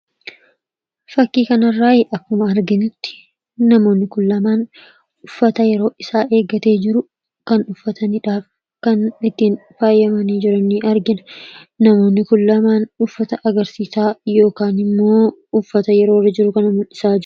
Fakkii kana irraa akkuma arginutti, namoonni Kun lamaan uffata yeroo isaa eeggatee jiru kan uffatanidha. Kan ittiin faayamanii jiran ni argina. Namoonni Kun lamaan uffata agarsiisaa yookaan mul'isaa jiru.